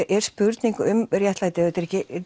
er spurning um réttlæti og þetta er ekki